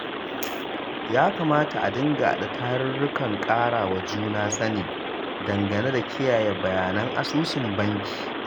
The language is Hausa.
Ya kamata a dinga haɗa tarurrukan ƙarawa juna sani dangane da kiyaye bayanan asusun banki.